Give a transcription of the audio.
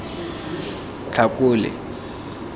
tlhakole